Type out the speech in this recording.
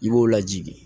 I b'o lajigin